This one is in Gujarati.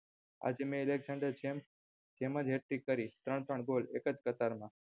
આજે મેં અલેકક્ષાંડર ની જેમજ hat trick કરી ત્રણ ત્રણ ગોલ એકજ કતાર માં